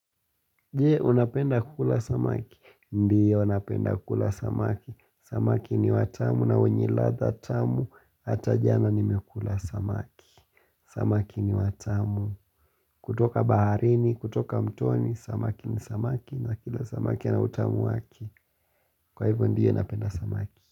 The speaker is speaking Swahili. Je, unapenda kukula samaki? Ndiyo, napenda kula samaki. Samaki ni watamu na wenyeladha tamu, hata jana nimekula samaki. Samaki ni watamu. Kutoka baharini, kutoka mtoni, samaki ni samaki na kila samaki ana utamu wake. Kwa hivyo, ndiyo, unapenda samaki.